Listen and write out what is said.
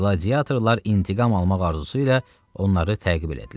Qladiatorlar intiqam almaq arzusu ilə onları təqib etdilər.